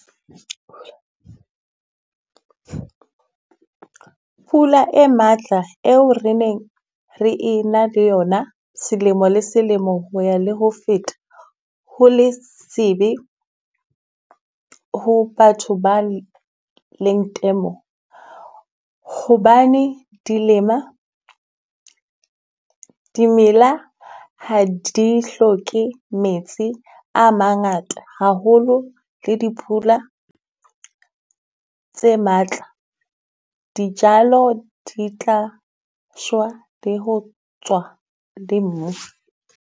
Pula e matla eo re neng re e na le yona selemo le selemo ho ya le ho feta. Ho le se be ho batho ba leng temo. Hobane dilema, dimela ha di hloke metsi a mangata haholo le dipula tse matla, dijalo di tla shwa, di ho tswa le mo.